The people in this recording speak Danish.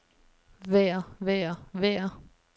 vejr vejr vejr